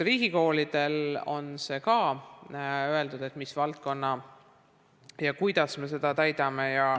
Riigikoolide puhul on ka see öeldud, kuidas me seda täidame.